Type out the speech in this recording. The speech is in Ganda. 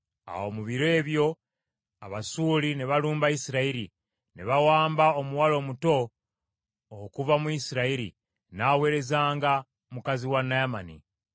Awo mu biro ebyo Abasuuli ne balumba Isirayiri, ne bawamba omuwala omuto okuva mu Isirayiri, n’aweerezanga mukazi wa Naamani.